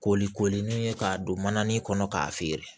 Koli koli ni ye k'a don manani kɔnɔ k'a feere